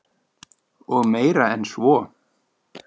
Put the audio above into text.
Og meira en svo.